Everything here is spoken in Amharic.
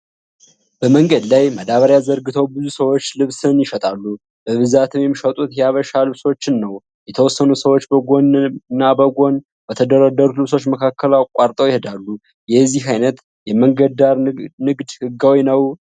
በመንገድ ላይ ማዳበሪያ ዘርግተው ብዙ ሰዎችህ ልብስን ይሸጣሉ። በብዛትም የሚሸጡት የሃበሻ ልብሶችን ነው። የተወሰኑ ሰዎች በጎን እና በጎን በተደረደሩት ልብሶች መካከል አቋርጠው ይሄዳሉ። የዚህ አይነት የመንገድ ዳር ንግድ ህጋዊ ነው?